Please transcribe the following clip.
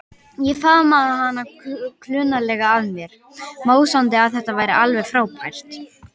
Ég faðmaði hana klunnalega að mér, másandi að þetta væri alveg frábært.